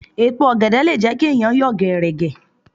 Èèpo ọ̀gẹ̀dẹ̀ le jẹ́ kí ẹ̀yàn yọ̀ gẹ̀ẹ̀rẹ̀gẹ̀.